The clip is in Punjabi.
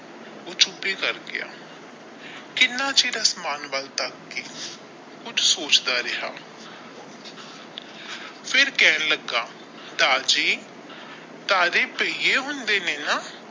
ਊਹ ਚੁੱਪ ਹੀ ਕਰ ਗਿਆ ਕਿੰਨਾ ਚਿਰ ਅਸਮਾਨ ਵੱਲ ਤਾਕ ਕੇ ਕੁਝ ਸੋਚਦਾ ਰਿਹਾ ਫਿਰ ਕਹਿਣਾ ਲੱਗਾ ਦਾਰ ਜੀ ਤਾਰੇ ਹੁੰਦੇ ਨੇ ਨਾ।